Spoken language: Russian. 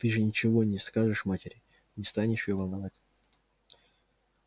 ты же ничего не скажешь матери не станешь её волновать